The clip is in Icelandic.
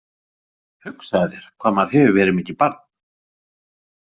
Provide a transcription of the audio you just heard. Hugsaðu þér hvað maður hefur verið mikið barn.